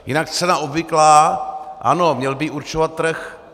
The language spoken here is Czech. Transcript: Jinak cena obvyklá: ano, měl by ji určovat trh.